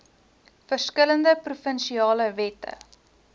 verskillende provinsiale wette